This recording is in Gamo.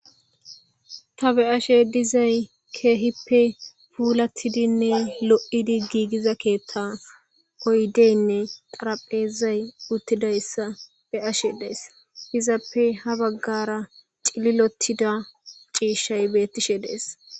Tha be7ashe dizay keehippe puulaththidinne lo7idi giigiza keeththa oydeenne xaraphezay uththidayssa be7ashe days; hizappe ha baggaara cililoththida ciishshay beththishe de7ees.